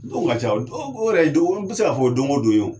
Donw ka ca dɔw o yɛrɛ ye don n be se k'a fɔ o don o don ye o